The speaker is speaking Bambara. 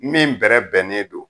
Min bɛrɛbɛnnen don.